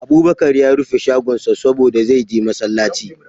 Abubakar ya rufe shagonsa saboda, zai je masallaci.